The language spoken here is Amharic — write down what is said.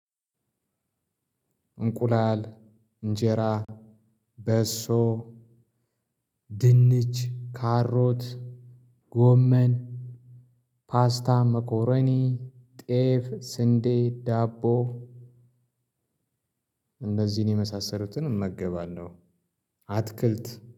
እንቁላል እንጀራ በሶ ድንች ካሮት ጎመን ፓስታ መኮረኒ ጤፍ ስንዴ ዳቦ እነዚህን የመሳሰሉትን እመገባለሁ። አትክልት